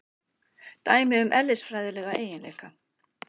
Dæmi um eðlisfræðilega eiginleika.